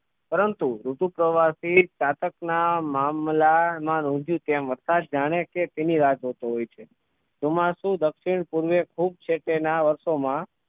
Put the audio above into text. પરંતુ ઋતુ પ્રવાસી ચાતક ના મામલા માં હુજ્યું જેમ વરસાદ જાણે કે તેની રાહ જોતો હોય છે ચોમાસું દક્ષિણપૂર્વે ખૂબ છેટે ના વર્ષો માં